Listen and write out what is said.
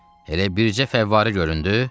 Elə bircə fəvvarə göründü?